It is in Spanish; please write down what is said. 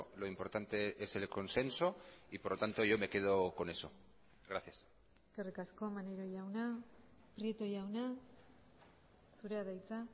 lo importante es el consenso y por lo tanto yo me quedo con eso gracias eskerrik asko maneiro jauna prieto jauna zurea da hitza